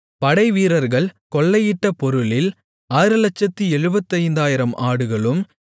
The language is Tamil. படைவீரர்கள் கொள்ளையிட்ட பொருளில் 675000 ஆடுகளும்